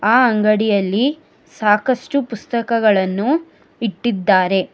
ಆ ಅಂಗಡಿಯಲ್ಲಿ ಸಾಕಷ್ಟು ಪುಸ್ತಕಗಳನ್ನು ಇಟ್ಟಿದ್ದಾರೆ.